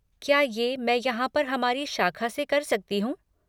क्या ये मैं यहाँ पर हमारी शाख़ा से कर सकती हूँ?